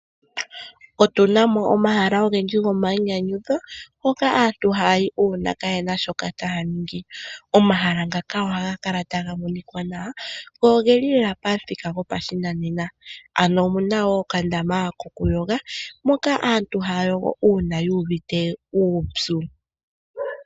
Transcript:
Otu na mo omahala ogendji gomayinyanyudho hoka aantu haya yi uuna kaye na shoka taya ningi. Omahala ngaka ohaga kala taga monika nawa go oge li lela pamuthika gopashinanena. Omu na wo okandama kokuyoga moka aantu haya yogo uupyu.